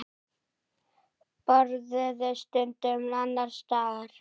Borðuðu stundum annars staðar.